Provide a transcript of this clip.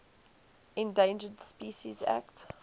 endangered species act